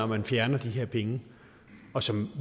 man fjerner de her penge og som